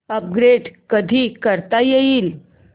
upgrade कधी करता येईल